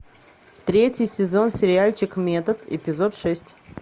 третий сезон сериальчик метод эпизод шесть